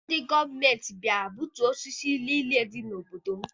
Ndị gọọmenti bịara gbutuo osisi niile dị n'obodo m.